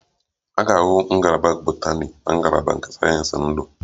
A ga-ahụ Ngalaba botani na ngalaba nke sayensị ndu